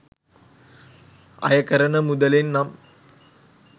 අය කරන මුදලෙන් නම්